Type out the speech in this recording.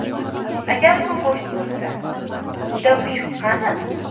Agar bu go‘sht bo‘lsa, unda mushuk qani?